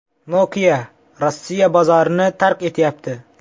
Nokia Rossiya bozorini tark etyapti.